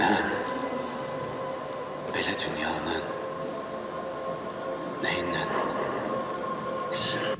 Mən belə dünyanı nəyindən istəyirəm?